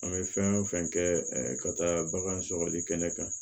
An bɛ fɛn o fɛn kɛ ka taa bagan sɔgɔli kɛnɛ kan